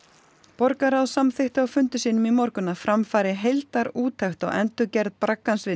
borgarráð samþykkti á fundi sínum í morgun að fram fari heildarúttekt á endurgerð braggans við